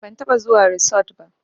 Ban taɓa zuwa risot ba